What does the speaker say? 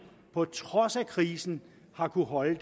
på trods af krisen har kunnet holde